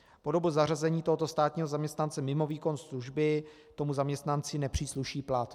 Po dobu zařazení tohoto státního zaměstnance mimo výkon služby tomu zaměstnanci nepřísluší plat."